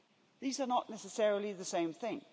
These are not necessarily the same thing.